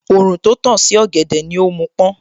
Òòrùn tó tàn sí ọ̀gẹ̀dẹ̀ ni ó mú pọ́n